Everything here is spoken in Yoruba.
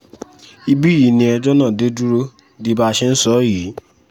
ibí yìí ni ẹjọ́ náà dé dúró di bá a ṣe ń sọ yìí